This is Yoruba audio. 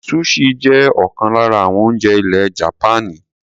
Sushi jẹ́ ọ̀kan lára àwọn oúnjẹ ilẹ̀ Japaní.